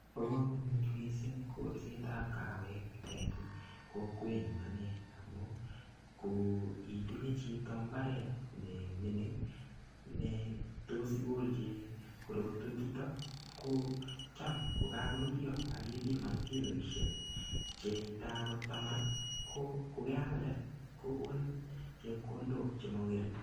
Bo komonut missing kolsetab kawek en kokwenyuny anee amun ko itinye chito imbaret nemingin netos igolji korotwek chuton ko Cham ko kokakoruryo ak ipiman kiloishek chetam ko tama ko yealde kokonin chepkondok chemongering.